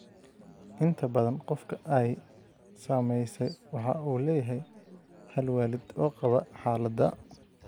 Inta badan, qofka ay saamaysay waxa uu leeyahay hal waalid oo qaba xaaladda.